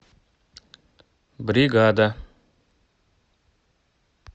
бригада